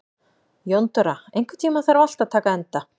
Jóndóra, einhvern tímann þarf allt að taka enda.